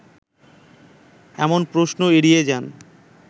এমন প্রশ্ন এড়িয়ে যান